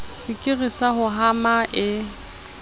sekiri sa ho hama e